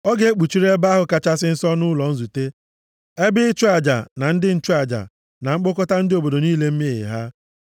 Ọ ga-ekpuchiri Ebe ahụ Kachasị Nsọ na ụlọ nzute, ebe ịchụ aja na ndị nchụaja, na mkpokọta ndị obodo niile mmehie ha.